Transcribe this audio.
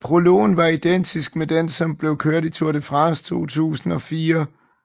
Prologen var identisk med den som blev kørt i Tour de France 2004